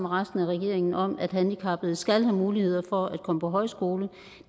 resten af regeringen om at handicappede skal have mulighed for at komme på højskole